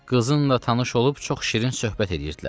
Qızınla tanış olub çox şirin söhbət eləyirdilər.